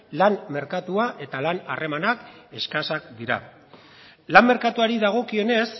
lan merkatua eta lan harremanak eskasak dira lan merkatuari dagokionez